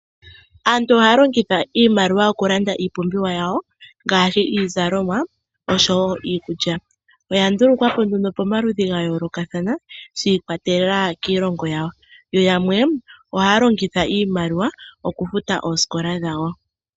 Aantu ohaya longitha iimaliwa okulanda iipumbiwa yawo, ngaashi iizalomwa oshowo iikulya. Oya ndulukwapo nduno pamaludhi ga yoolokathana shi ikwatelela kiilongo yawo, yo yamwe ohaya longitha iimaliwa okufuta oosikola dhawo.